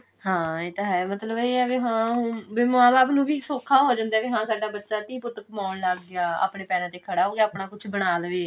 ਹਾਂ ਇਹ ਤਾਂ ਹੈ ਮਤਲਬ ਇਹ ਹੈ ਵੀ ਹਾਂ ਹੁਣ ਵੀ ਮਾਂ ਬਾਪ ਨੂੰ ਵੀ ਸੋਖਾ ਹੋ ਜਾਂਦਾ ਵੀ ਸਾਡਾ ਬੱਚਾ ਧੀ ਪੁੱਤ ਕਮਾਉਣ ਲੱਗ ਗਿਆ ਆਪਣੇ ਪੈਰਾਂ ਤੇ ਖੜਾ ਹੋਗੀਆ ਆਪਣਾ ਕੁਛ ਬਣਾ ਲਵੇ